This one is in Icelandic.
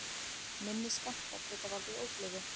minni skammtar geta valdið ógleði